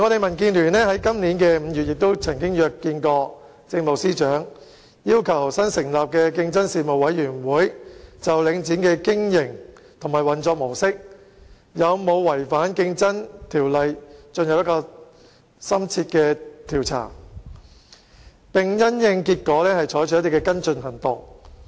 民建聯今年5月曾約見政務司司長，要求新成立的競爭事務委員會就領展的經營及運作模式有否違反《競爭條例》進行深切調查，並因應結果採取跟進行動。